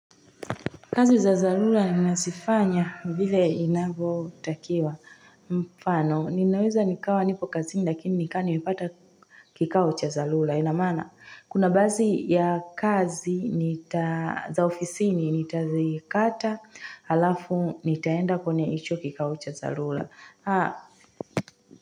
Kazi za dharura ninaszifanya vile inavotakiwa mfano ninaweza nikawa nipo kazini lakini nikama nimepata kikao cha dharura ina maana kuna baadhi ya kazi za ofisini nitazikata alafu nitaenda kwenye hicho kikao cha dharura.